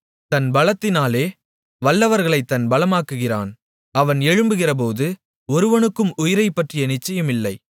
தன் பலத்தினாலே வல்லவர்களைத் தன் பலமாக்குகிறான் அவன் எழும்புகிறபோது ஒருவனுக்கும் உயிரைப்பற்றி நிச்சயமில்லை